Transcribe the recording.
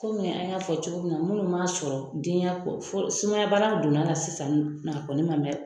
Komi an y'a fɔ cogo min na munnu m'a sɔrɔ denya sumayabana donna na sisan a kɔni ma mɛ.